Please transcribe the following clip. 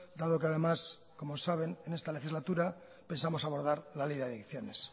dado que además como saben en esta legislatura pensamos abordar la ley de adicciones